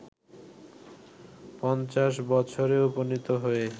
৫০ বছরে উপনীত হয়ে